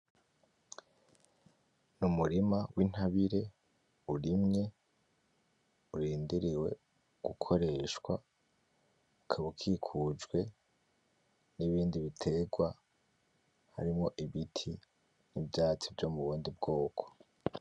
Ni umurima w'intabire urimye urindiriwe gukoreshwa, ukaba ukikujwe n'ibindi biterwa harimwo ibiti n'ivyatsi vyo mubundi bwoko.